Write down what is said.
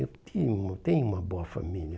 Eu tive mantenho uma boa família.